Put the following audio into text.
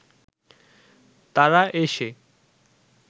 তারা এসে